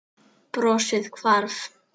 Brosið hvarf.